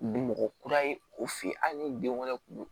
Bi mɔgɔ kura ye o fe yen hali ni den wɛrɛ kun don